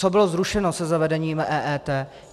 Co bylo zrušeno se zavedením EET?